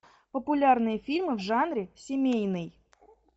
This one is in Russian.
популярные фильмы в жанре семейный